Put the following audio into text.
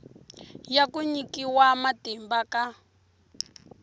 ya ku nyikiwa matimba ka